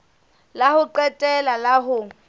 la ho qetela la ho